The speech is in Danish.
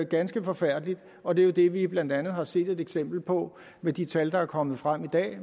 ganske forfærdeligt og det er jo det vi blandt andet har set et eksempel på med de tal der er kommet frem i dag i